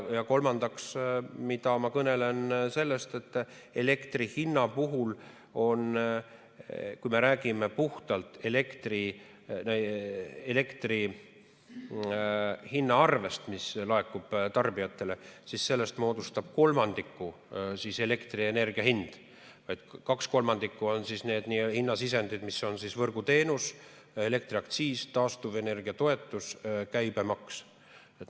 Kolmandaks, ma kõnelen sellest, et elektri hinna puhul, kui me räägime puhtalt elektriarvest, mis laekub tarbijatele, moodustab kolmandiku elektrienergia hind ja kaks kolmandikku on hinnasisendid, mis on võrguteenus, elektriaktsiis, taastuvenergia toetus ja käibemaks.